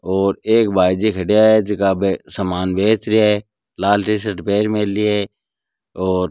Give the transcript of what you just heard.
और एक भाई जी खड्या है जीका बे सामान बेच रिया है लाल टी-शर्ट पेर मेलि है और --